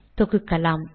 தொகுக்கலாம்